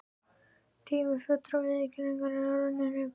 Tími fullrar viðurkenningar er runninn upp.